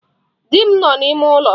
Di m nọ n'ime ụlọ.